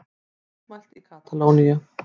Mótmælt í Katalóníu